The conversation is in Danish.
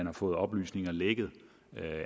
har fået oplysninger